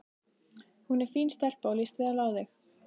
Hún er fín stelpa og líst vel á þig.